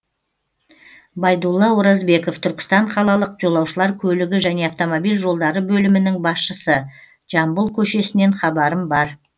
байдулла оразбеков түркістан қалалық жолаушылар көлігі және автомобиль жолдары бөлімінің басшысы жамбыл көшесінен хабарым бар